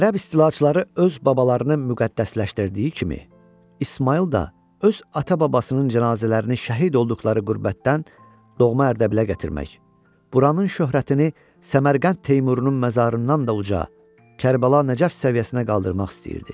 Ərəb istilaçıları öz babalarını müqəddəsləşdirdiyi kimi, İsmayıl da öz ata-babasının cənazələrini şəhid olduqları qürbətdən doğma Ərdəbilə gətirmək, buranın şöhrətini Səmərqənd Teymurunun məzarından da uca, Kərbəla Nəcəf səviyyəsinə qaldırmaq istəyirdi.